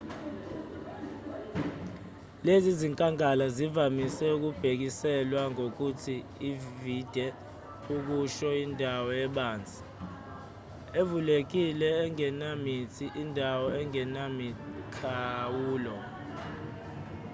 lezi zinkangala zivamise ukubhekiselwa ngokuthi vidde okusho indawo ebanzi evulekile engenamithi indawo engenamikhawulo